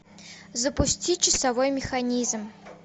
запусти часовой механизм